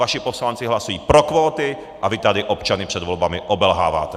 Vaši poslanci hlasují pro kvóty a vy tady občany před volbami obelháváte.